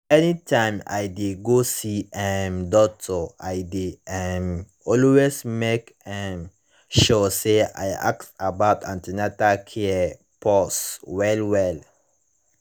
anytime i dey go see um doctor i dey um always make um sure say i ask about an ten atal care pause well well